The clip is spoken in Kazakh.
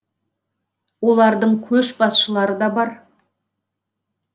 олардың көшбасшылары да бар